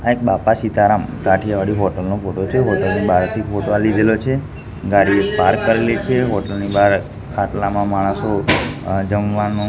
આ એક બાપા સીતારામ કાઠીયાવાડી હોટલ નો ફોટો છે હોટલ ની બારથી ફોટો આ લીધેલો છે ગાડી પાર્ક કરેલી છે હોટેલ ની બાર ખાટલામાં માણસો અ જમવાનું--